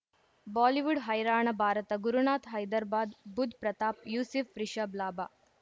Bollywood ಹೈರಾಣ ಭಾರತ ಗುರುನಾಥ್ ಹೈದ್ರಾಬಾದ್ ಬುಧ್ ಪ್ರತಾಪ್ ಯೂಸಿಫ್ ರಿಷಬ್ ಲಾಭ